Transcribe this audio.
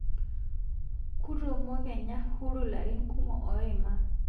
Kotumo Kenya huru larin kumo oimaa